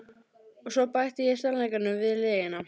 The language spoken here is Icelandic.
Og svo bæti ég sannleikanum við lygina.